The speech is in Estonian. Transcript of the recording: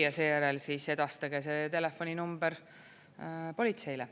Ja seejärel siis edastage see telefoninumber politseile.